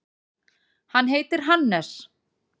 Hann heitir Hannes.